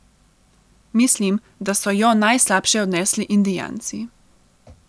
Mislim da so jo najslabše odnesli indijanci.